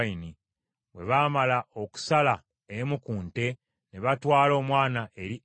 Bwe baamala okusala emu ku nte, ne batwala omwana eri Eri.